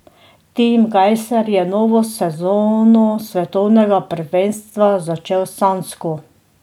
Tim Gajser je novo sezono svetovnega prvenstva začel sanjsko.